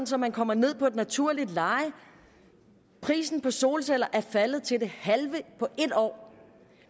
så man kommer ned på et naturligt leje prisen på solceller er faldet til det halve på et år